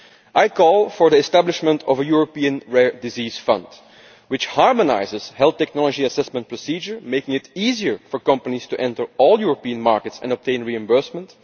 I call for the establishment of a European rare disease fund which would harmonise the health technology assessment procedure, making it easier for companies to enter all European markets and obtain reimbursement.